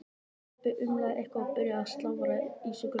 Kobbi umlaði eitthvað og byrjaði að slafra í sig grautinn.